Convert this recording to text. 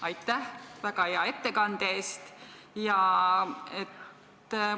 Aitäh väga hea ettekande eest!